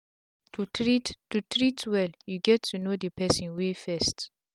to treat to treat well u gets know d person way first